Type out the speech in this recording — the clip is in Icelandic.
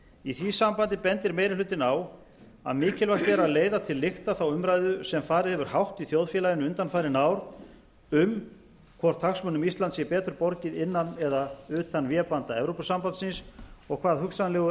í því sambandi bendir meiri hlutinn á að mikilvægt er að leiða til lykta þá umræðu sem farið hefur hátt í þjóðfélaginu undanfarin ár um hvort hagsmunum íslands sé betur borgið innan eða utan vébanda evrópusambandsins og hvað hugsanlegur